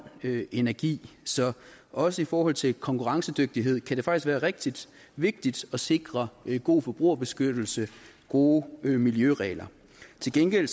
energi så også i forhold til konkurrencedygtighed kan det faktisk være rigtig vigtigt at sikre god forbrugerbeskyttelse og gode miljøregler til gengæld